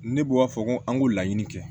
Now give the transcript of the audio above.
Ne bɔ a fɔ ko an ko laɲini kɛ